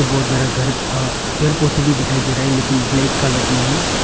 बहुत ज्यादा घर अह पेड़ पौधे भी दिखाई दे रहा है लेकिन ब्लैक कलर में है।